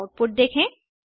और आउटपुट देखें